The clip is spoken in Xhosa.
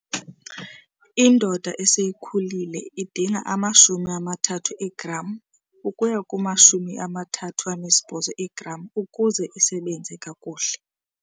Indoda eseyikhulile idinga ama-30 eegram ukuya kuma-38 eegram ukuze isebenze kakuhle.